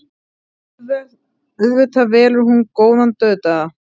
Auðvitað velur hún góðan dauðdaga.